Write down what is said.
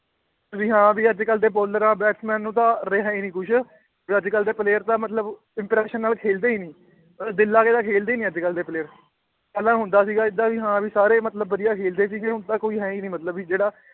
ਵੀ ਹਾਂ ਵੀ ਅੱਜ ਕੱਲ੍ਹ ਦੇ ਬਾਲਰਾਂ batsman ਨੂੰ ਤਾਂ ਰਿਹਾ ਹੀ ਨੀ ਕੁਛ, ਵੀ ਅੱਜ ਕੱਲ੍ਹ ਦੇ player ਤਾਂ ਮਤਲਬ interest ਨਾਲ ਖੇਲਦੇ ਹੀ ਨੀ ਦਿਲ ਲਾ ਕੇ ਤਾਂ ਖੇਲਦੇ ਹੀ ਨੀ ਅੱਜ ਕੱਲ੍ਹ ਦੇ player ਪਹਿਲਾਂ ਹੁੰਦਾ ਸੀਗਾ ਏਦਾਂ ਵੀ ਹਾਂ ਵੀ ਸਾਰੇ ਮਤਲਬ ਵਧੀਆ ਖੇਲਦੇੇ ਸੀਗੇ ਹੁਣ ਤਾਂਂ ਕੋਈ ਹੈ ਹੀ ਨੀ ਮਤਲਬ ਵੀ ਜਿਹੜਾ